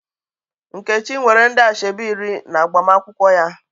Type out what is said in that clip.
Nkechi nwere ndị asoebi iri n'agbamakwụkwọ ya.